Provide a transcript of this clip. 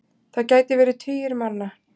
Það gæti verið tugir manna.